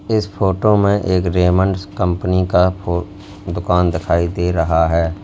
इस फोटो में एक रेमंड्स कंपनी का दुकान दिखाई दे रहा है।